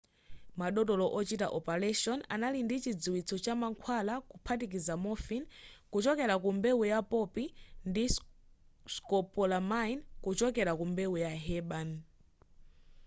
madotolo ochita opaleshoni anali ndi chidziwitso cha mankhwala kuphatikiza morphine kuchokera ku mbewu ya poppy ndi scopolamine kuchokera ku mbewu ya herbane